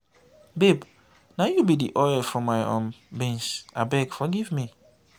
babe na you be the oil for my um beans abeg forgive me.